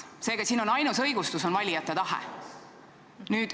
Seega, siin on ainus õigustus valijate tahe.